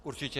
Určitě.